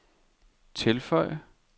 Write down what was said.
tilføj